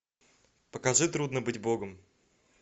покажи трудно быть богом